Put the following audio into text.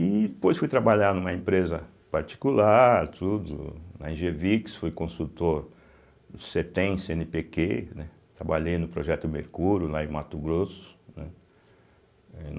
E depois fui trabalhar numa empresa particular, tudo, na Engevix, fui consultor do Cêtem, Cêenepêquê, né trabalhei no Projeto Mercúrio, lá em Mato Grosso, né eh.